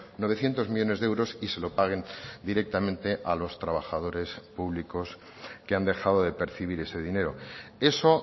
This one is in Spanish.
novecientos millónes de euros y se lo paguen directamente a los trabajadores públicos que han dejado de percibir ese dinero eso